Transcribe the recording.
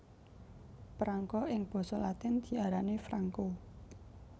Prangko ing basa latin diarani franco